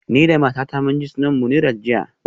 Ni da matata mun je sunan Munirat jiya